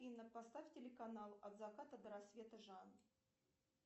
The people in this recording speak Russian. афина поставь телеканал от заката до рассвета жанр